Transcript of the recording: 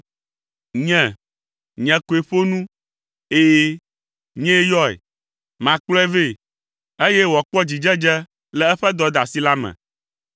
Nye, nye koe ƒo nu. Ɛ̃, nyee yɔe. Makplɔe vɛ, eye wòakpɔ dzidzedze le eƒe dɔdeasi la me.